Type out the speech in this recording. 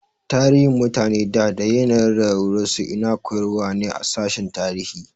Tarihin mutane da da yanayin rayuwar su ina koyarwa ne a sashin tarihi